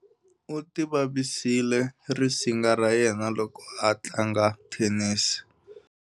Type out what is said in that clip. U tivavisile risinga ra yena loko a tlanga thenisi.